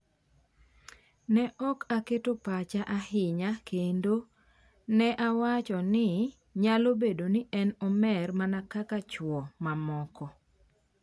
Ne ok aketo pacha ahinya kendo ne awacho ni...nyalo bedo ni en omer mana kaka chwo mamoko.